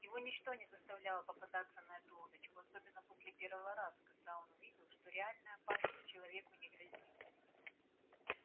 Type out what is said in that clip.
его ничто не заставляло попадаться на эту удочку особенно после первого раза когда он увидел что реальная опасность человеку не грозит